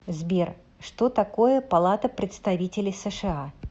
сбер что такое палата представителей сша